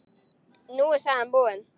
Nú er sagan búin.